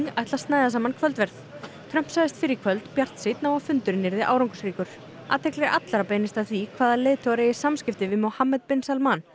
ætla að snæða saman kvöldverð Trump sagðist fyrr í kvöld bjartsýnn á að fundurinn yrði árangursríkur athygli allra beinist að því hvaða leiðtogar eigi samskipti við Mohammed bin Salman